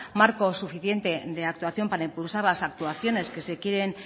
marco suficiente de actuación para impulsar las actuaciones que se quieren